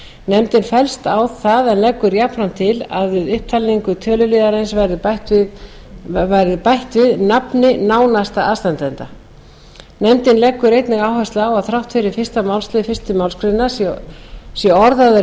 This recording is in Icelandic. nefndin fellst á það en leggur jafnframt til að við upptalningu töluliðarins verði bætt nafni nánasta aðstandanda nefndin leggur einnig áherslu á að þrátt fyrir að fyrstu málsl fyrstu málsgrein sé orðaður